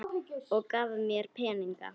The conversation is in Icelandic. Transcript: Og gaf mér peninga líka.